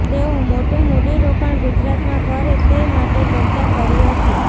તેઓ મોટું મૂડીરોકાણ ગુજરાતમાં કરે તે માટે ચર્ચા કરી હતી